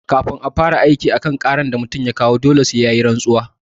Kan a fara aiki a kan ƙarar da mutum ya kawo dole sai yayi rantsuwa